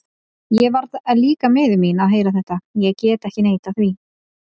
Ég varð líka miður mín að heyra þetta, ég get ekki neitað því.